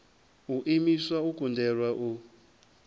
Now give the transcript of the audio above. u imiswa u kundelwa u